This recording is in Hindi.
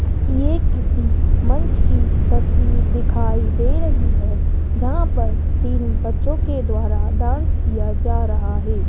ये किसी मंच की तस्वीर दिखाई दे रही है जहां पर तीन बच्चों के द्वारा डांस किया जा रहा है।